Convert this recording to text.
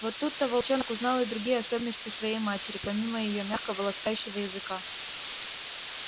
вот тут-то волчонок узнал и другие особенности своей матери помимо её мягкого ласкающего языка